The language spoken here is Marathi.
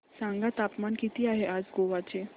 सांगा तापमान किती आहे आज गोवा चे